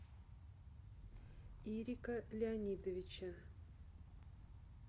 ирика леонидовича